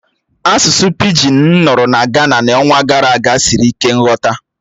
Asụsụ pịgịn m nụrụ na Gana n'ọnwa gara aga siri ike nghọta